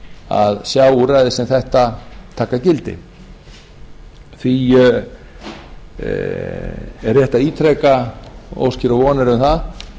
að sjá úrræði sem þetta taka gildi því er rétt að ítreka óskir og vonir um það